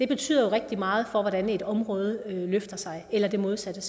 betyder rigtig meget for hvordan et område løfter sig eller det modsatte